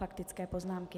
Faktické poznámky.